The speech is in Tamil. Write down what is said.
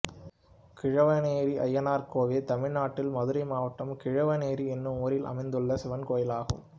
கிழவனேரி அய்யனார் கோயில் தமிழ்நாட்டில் மதுரை மாவட்டம் கிழவனேரி என்னும் ஊரில் அமைந்துள்ள சிவன் கோயிலாகும்